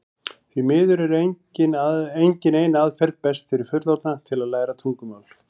því miður er engin ein aðferð best fyrir fullorðna til að læra tungumál